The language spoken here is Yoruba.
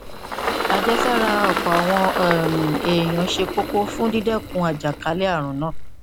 àjẹsára àwọn ọpọ um èèyàn ṣe kókó fún dídẹkun àjàkálẹ ààrùn náà